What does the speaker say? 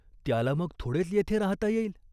त्याला मग थोडेच येथे राहाता येईल?